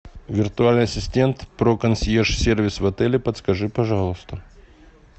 виртуальный ассистент про консьерж сервис в отеле подскажи пожалуйста